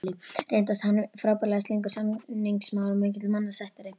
Reyndist hann frábærlega slyngur samningamaður og mikill mannasættir.